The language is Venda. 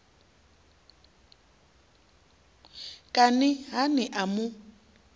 kani ha ni a mu